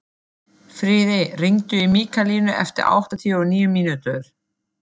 Friðey, hringdu í Mikkalínu eftir áttatíu og níu mínútur.